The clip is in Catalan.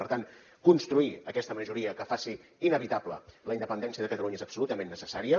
per tant construir aquesta majoria que faci inevitable la independència de catalunya és absolutament necessària